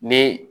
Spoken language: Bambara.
Ni